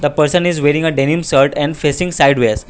a person is wearing a denim shirt and facing sideways.